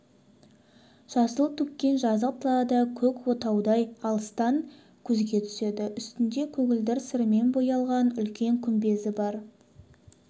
жасыл төккен жазық далада көк отаудай алыстан көзге түседі үстінде көгілдір сырмен бояған үлкен күмбезі бар